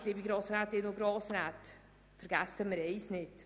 Nicht wahr, liebe Grossrätinnen und Grossräte, vergessen wir eines nicht: